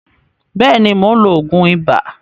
Bẹ́ẹ̀ni, mo ti ń lo òògùn ibà.